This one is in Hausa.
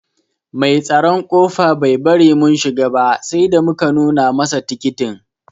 Mai tsaron kofa Bai bari mun shiga ba sai da muka nuna masa tikitin.